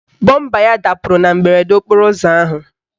Bọmba ya dapụrụ na mberede okporo ụzọ ahụ.